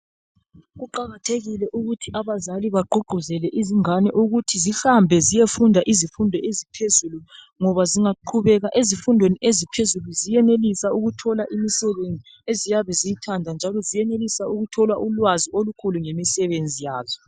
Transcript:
Kuqakathekile ukuthi abazali bagqugquzele izingane ukuthi zihambe ziyefunda izifundo eziphezulu ngoba zingaqhubeka ezifundweni eziphezulu ziyenelisa ukuthola imisebenzi eziyabe ziyithanda njalo ziyenelisa ukuthola ulwazi olukhulu ngemisebenzi yazo